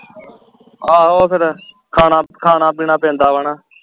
ਆਹੋ ਫੇਰ ਖਾਣਾ ਖਾਣਾ ਪੀਣਾ ਪੈਂਦਾ ਵਾ ਨਾ